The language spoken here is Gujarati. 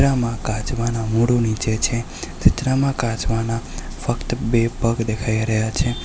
આમાં કાચબાનું મોઢું નીચે છે ચિત્રમાં કાચબાના ફક્ત બે પગ દેખાય રહ્યા છે.